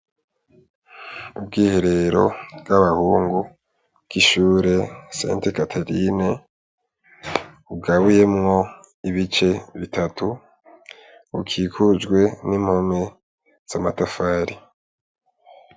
Ubwiherero bw'abahungu bw'ishure seti katerine bugabuyemwo ibice bitatu bukikujwe n'impome z'amatafari.